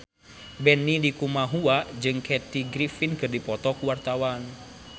Benny Likumahua jeung Kathy Griffin keur dipoto ku wartawan